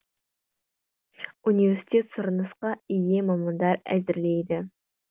университет сұранысқа ие мамандар әзірлейді